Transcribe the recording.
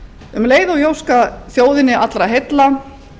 um leið og ég óska þjóðinni allra heilla